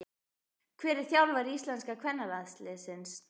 Hver er þjálfari íslenska kvennalandsliðsins?